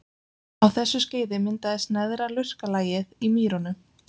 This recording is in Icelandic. Á þessu skeiði myndaðist neðra lurkalagið í mýrunum.